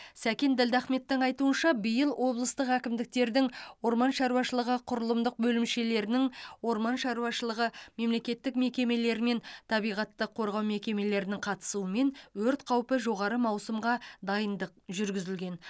сәкен ділдахметтің айтуынша биыл облыстық әкімдіктердің орман шаруашылығы құрылымдық бөлімшелерінің орман шаруашылығы мемлекеттік мекемелері мен табиғатты қорғау мекемелерінің қатысуымен өрт қаупі жоғары маусымға дайындық жүргізілген